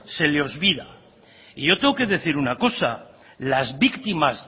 se le olvida y yo tengo que decir una cosa las víctimas